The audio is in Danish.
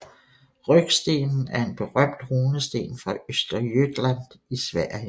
Rökstenen er en berømt runesten fra Östergötland i Sverige